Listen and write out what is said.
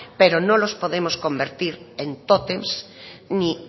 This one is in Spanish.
pero no los podemos convertir en tótems ni